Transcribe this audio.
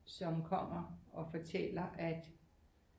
Som kommer og fortæller at